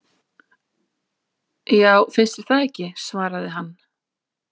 Já, finnst þér það ekki svaraði hann.